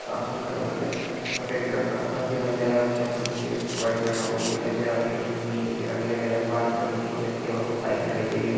सामने की तरफ मुझे सफ़ेद कलर का घर दिखाई दे रहा है उसके ऊपर मुझे वाइट कलर का बोर्ड दिखाई दे रहा है उसके ऊपर हिन्दी में कुछ लिखा दिखाई दे रहा है बाहर की तरफ मुझे कुछ एक्टिवा और कुछ बाइक दिखाई दे रही हैं ।